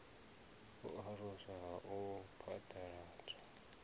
u aluswa ha u phaḓaladzwa